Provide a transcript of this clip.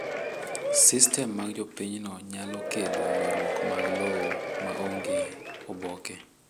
Sistem mag jopinyno nyalo kelo ywarruok mag lowo ma onge oboke.